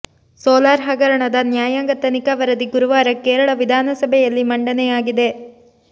solar ಹಗರಣದ ನ್ಯಾಯಾಂಗ ತನಿಖಾ ವರದಿ ಗುರುವಾರ ಕೇರಳ ವಿಧಾನಸಭೆಯಲ್ಲಿ ಮಂಡನೆಯಾಗಿದೆ